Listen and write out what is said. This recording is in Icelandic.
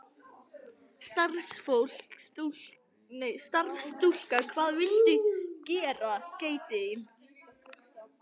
Starfsstúlka: Hvað viltu gera?